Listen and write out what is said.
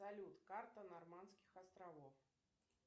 салют карта нормандских островов